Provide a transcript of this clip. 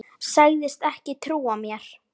Sagðist ekki trúa mér.